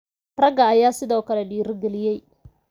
Ragga ayaa sidoo kale dhiirigeliyay.